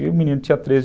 E o menino tinha treze